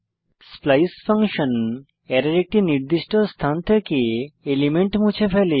splice function অ্যারের একটি নির্দিষ্ট স্থান থেকে এলিমেন্ট মুছে ফেলে